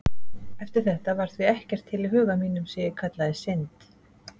Eftir þetta var því ekkert til í huga mínum sem ég kallaði synd.